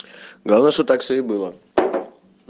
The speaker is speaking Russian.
главное что так все и было